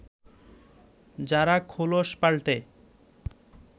যারা খোলস পাল্টে